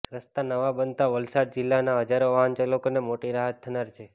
રસ્તા નવા બનતા વલસાડ જિલ્લાના હજારો વાહનચાલકોને મોટી રાહત થનાર છે